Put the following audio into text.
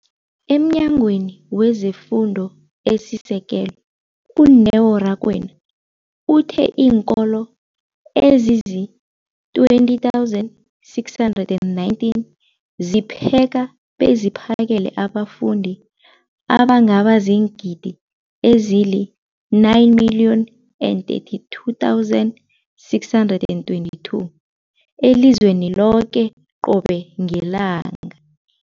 EmNyangweni wezeFundo esiSekelo, u-Neo Rakwena, uthe iinkolo ezizi-20 619 zipheka beziphakele abafundi abangaba ziingidi ezili-9 032 622 elizweni loke qobe ngelanga.